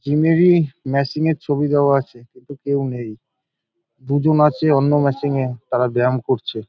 Gym -এর ই machine -এর ছবি দেওয়া আছে। কিন্তু কেউ নেই দুজন আছে অন্য মেশিন -এ তারা ব্যায়াম করছে।